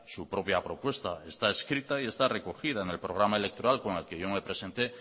su propia propuesta está escrita y está recogida en el programa electoral con el que yo me he presenté